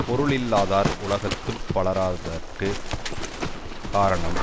பொருளில்லாதார் உலகத்து பலராதற்குக் காரணம்